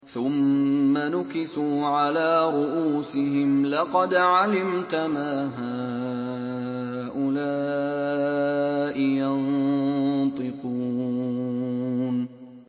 ثُمَّ نُكِسُوا عَلَىٰ رُءُوسِهِمْ لَقَدْ عَلِمْتَ مَا هَٰؤُلَاءِ يَنطِقُونَ